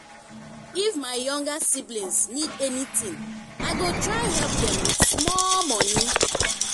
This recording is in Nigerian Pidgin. if my younger siblings need anything i go try help them with small money.